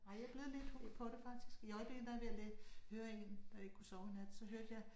Ej jeg blevet lidt hooked på det faktisk i øjeblikket der jeg ved at høre 1 da jeg ikke kunne sove i nat så hørte jeg